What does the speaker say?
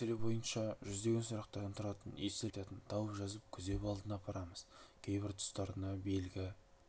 осы мәселе бойынша жүздеген сұрақтардан тұратын естелік айтатын тауып жазып күзеп алдына апарамыз кейбір тұстарына белгі